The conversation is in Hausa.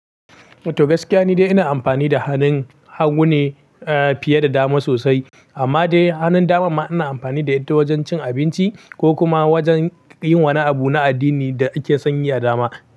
To gaskiya ni dai ina amfani da hannun hagu ne fiye da dama sosai, amma dai hannun daman ma ina amfani da ita wajen cin abinci ko kuma wajen yin wani abu na addini da ake sanyi a dama.